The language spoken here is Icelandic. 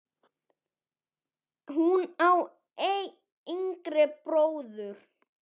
Hún á einn yngri bróður.